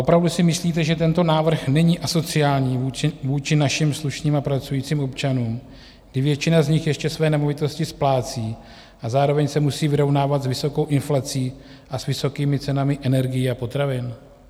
Opravdu si myslíte, že tento návrh není asociální vůči našim slušným a pracujícím občanům, kdy většina z nich ještě své nemovitosti splácí a zároveň se musí vyrovnávat s vysokou inflací a s vysokými cenami energií a potravin?